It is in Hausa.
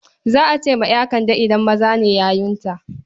Za a ce wa ƴa Kande idan maza ne yayunta.